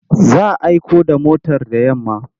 Za a aiko da motar da yamma.